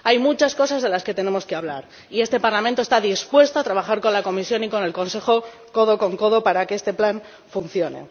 Hay muchas cosas de las que tenemos que hablar y este Parlamento está dispuesto a trabajar con la Comisión y con el Consejo codo con codo para que este plan funcione.